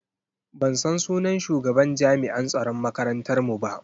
Ban san sunan shugaban jami'an tsaron makarantar mu ba.